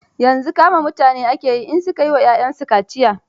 Yanzu kama mutane ake yi in su ka yi wa 'y'yansu mata kaciya.